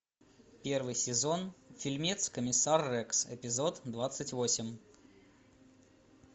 первый сезон фильмец комиссар рекс эпизод двадцать восемь